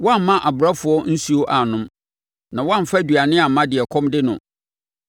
Woamma abrɛfoɔ nsuo annom na woamfa aduane amma deɛ ɛkɔm de no.